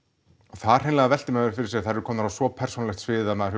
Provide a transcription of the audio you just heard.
þar hreinlega veltir maður fyrir sér þær eru komnar á svo persónulegt svið að maður